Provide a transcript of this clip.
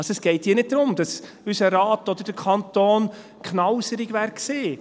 Es geht hier also nicht darum, dass unser Rat oder der Kanton knauserig gewesen wären.